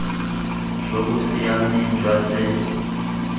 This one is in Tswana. jo bo siameng jwa se